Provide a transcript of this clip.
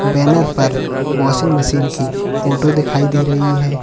Banner पर washing machine की photo दिखाई दे रही है।